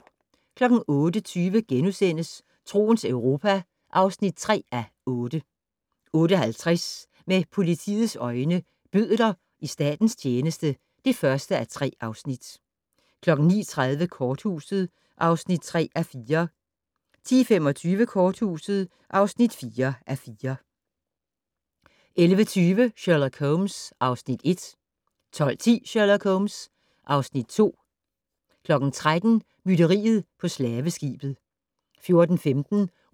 08:20: Troens Europa (3:8)* 08:50: Med politiets øjne: Bødler i statens tjeneste (1:3) 09:30: Korthuset (3:4) 10:25: Korthuset (4:4) 11:20: Sherlock Holmes (Afs. 1) 12:10: Sherlock Holmes (Afs. 2) 13:00: Mytteriet på slaveskibet 14:15: